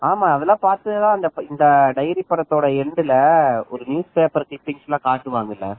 ஆமா அதெல்லாம் பார்த்து தான் இந்த டைரி படத்தோட end ல ஒரு நியூஸ் பேப்பர் cuttings ல காட்டுவாங்க இல்ல